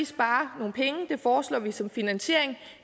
spare nogle penge det foreslår vi som finansiering